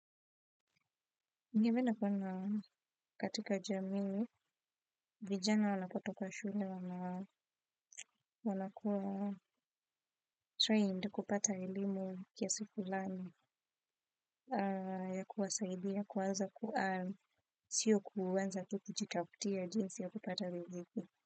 Ningependa kuona katika jamii, vijana wanapotoka shule, wanakuwa trained kupata elimu kiasi fulani ya kuwasaidiya kuanza ku earn, sio kuanza tu kujitafutiya jinsi ya kupata riziki.